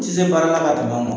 Sisan i baarada ka bon maaw ma